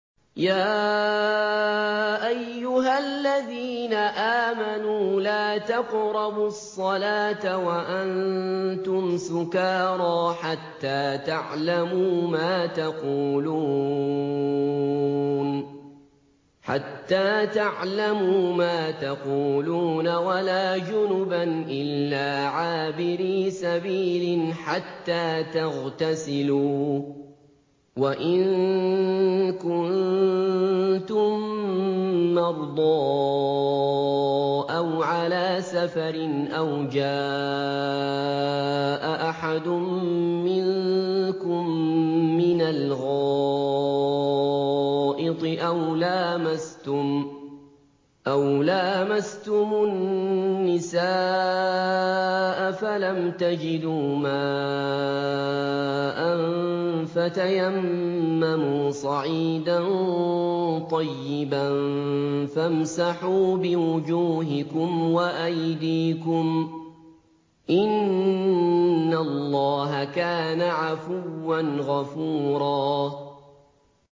يَا أَيُّهَا الَّذِينَ آمَنُوا لَا تَقْرَبُوا الصَّلَاةَ وَأَنتُمْ سُكَارَىٰ حَتَّىٰ تَعْلَمُوا مَا تَقُولُونَ وَلَا جُنُبًا إِلَّا عَابِرِي سَبِيلٍ حَتَّىٰ تَغْتَسِلُوا ۚ وَإِن كُنتُم مَّرْضَىٰ أَوْ عَلَىٰ سَفَرٍ أَوْ جَاءَ أَحَدٌ مِّنكُم مِّنَ الْغَائِطِ أَوْ لَامَسْتُمُ النِّسَاءَ فَلَمْ تَجِدُوا مَاءً فَتَيَمَّمُوا صَعِيدًا طَيِّبًا فَامْسَحُوا بِوُجُوهِكُمْ وَأَيْدِيكُمْ ۗ إِنَّ اللَّهَ كَانَ عَفُوًّا غَفُورًا